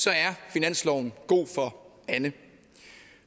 finansloven er god for anne